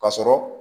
Ka sɔrɔ